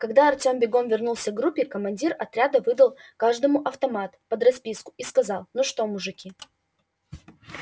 когда артем бегом вернулся к группе командир отряда выдал каждому автомат под расписку и сказал ну что мужики